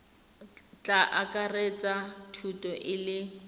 tla akaretsa thuto e le